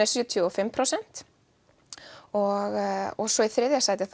sjötíu og fimm prósent og og svo í þriðja sæti